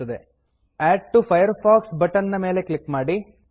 add to Firefox add to Firefox button ನ ಮೇಲೆ click ಮಾಡಿ